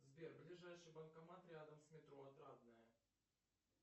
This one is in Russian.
сбер ближайший банкомат рядом с метро отрадное